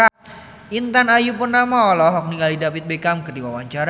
Intan Ayu Purnama olohok ningali David Beckham keur diwawancara